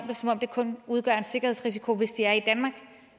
det som om de kun udgør en sikkerhedsrisiko hvis de er i danmark